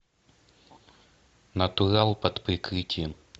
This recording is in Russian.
натурал под прикрытием